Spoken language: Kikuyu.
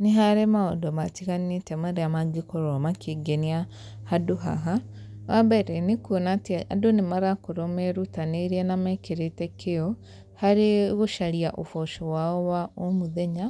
Nĩ harĩ maũndũ matiganĩte marĩa mangĩkorwo makĩngenia handũ haha, wa mbere, nĩ kuona atĩ andũ nĩ marakorwo marutanĩirie na mekĩrĩte kĩo, harĩ gũcaria ũboco wao wa o mũthenya,